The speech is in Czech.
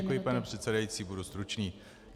Děkuji, paní předsedající, budu stručný.